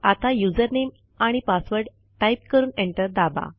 आता यूझर नामे आणि पासवर्ड टाईप करून एंटर दाबा